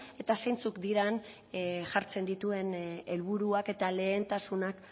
eta zeintzuk diren jartzen dituen helburuak eta lehentasunak